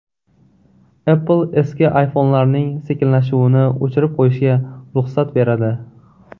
Apple eski iPhone’larning sekinlashuvini o‘chirib qo‘yishga ruxsat beradi.